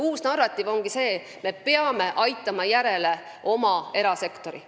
Uus narratiiv ongi see, et me peame oma erasektori järele aitama.